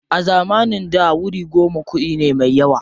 A zamanin da wuri goma kuɗi ne me yawa.